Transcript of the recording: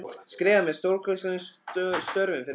skrifað með stórkarlalegum stöfum fyrir neðan.